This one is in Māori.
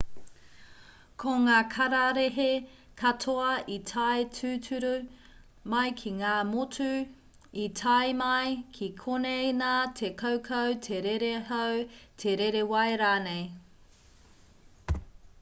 ko ngā kararehe katoa i tae tūturu mai ki ngā motu i tae mai ki konei nā te kaukau te rere hau te rere wai rānei